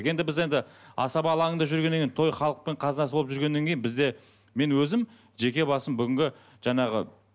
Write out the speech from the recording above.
енді біз енді асаба алаңында жүргеннен кейін той халықтың қазынасы болып жүргеннен кейін бізде мен өзім жеке басым бүгінгі жаңағы